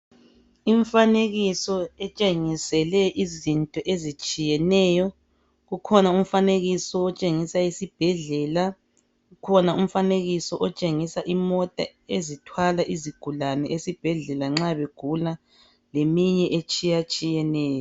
Imifanekiso etshengisele izinto ezitshiyeneyo. Kukhona umfanekiso otshengisa isibhedlela. Kukhona umfanekiso otshengisa imota ethwala izigulane esibhedlela nxa begula leminye etshiyeneyo.